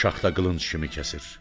Şaxta qılınc kimi kəsir.